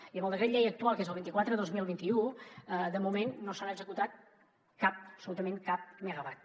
i amb el decret llei actual que és el vint quatre dos mil vint u de moment no s’ha executat cap absolutament cap megawatt